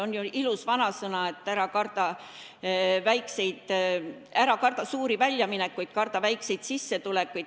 On ju ilus vanasõna, et ära karda mitte suuri väljaminekuid, vaid karda väikseid sissetulekuid.